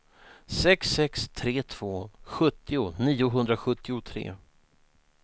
sex sex tre två sjuttio niohundrasjuttiotre